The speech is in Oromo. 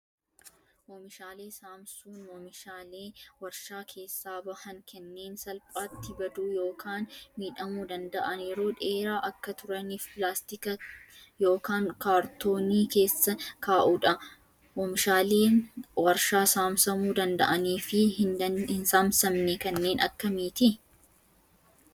Oomishaalee saamsuun oomishaalee warshaa keessaa bahan kanneen salphaatti baduu yookaan miidhamuu danda'an yeroo dheeraa akka turaniif pilaastika yookaan kaartoonii keessa kaa'uudha. Oomishaaleen warshaa saamsamuu danda'anii fi hin saamsamne kanneen akkamiiti?